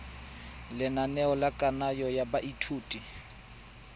lenaneo la kananyo ya baithuti